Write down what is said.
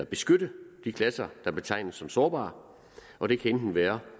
beskytte de klasser der betegnes som sårbare og det kan enten være